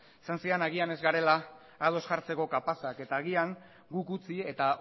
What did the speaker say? esan zidan agian ez garela ados jartzeko kapazak eta agian guk utzi eta